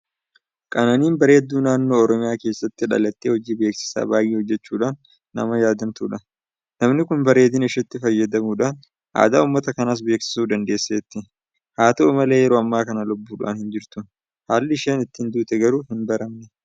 Qananiin bareedduu naannoo Oromiyaa keessaa dhalattee hojii beeksisaa baay'ee hojjechuudhaan nama yaadatamtudha. Namni kun bareedina isheetti fayyadamuudhaan aadaa uummata kanaas beeksisuu dandeesseetti. Haata'u malee yeroo ammaa kana lubbuudhaan hinjirtu. Haalli isheen ittiin duute garuu hinbaramne.